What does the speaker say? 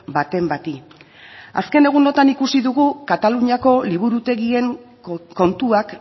baten bati azken egunotan ikusi dugu kataluniako liburutegien kontuak